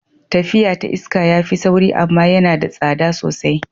Tafiya ta iska ya fi sauri amma yana da tsada sosai.